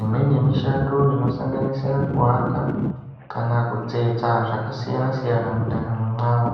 Imweni yemishando inosanganisira kuaka ,kana kutsetsa zvakasiyana-siyana mundaramo mwavo.